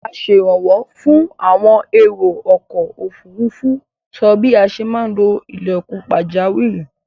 Asẹ̀rànwó fún àwọn èrò-ọkọ̀-òfurufú sọ bí a ṣe maá lo ilẹ̀kùn pàjáwìrì.